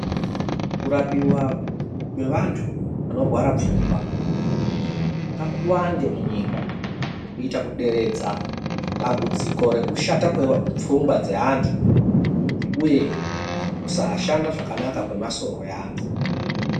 Kurapiwa kwevantu vanorwara pfungwa ngakuwande munyika kuita kuderedza dambudziko rekushata pfungwa dzeeantu uye kusashanda zvakanaka kwemasoro eantu